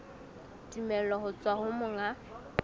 tumello ho tswa ho monga